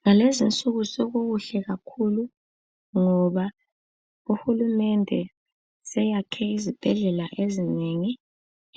Ngalezinsuku sokukuhle kakhulu ngoba uhulumende seyakhe izibhedlela ezinengi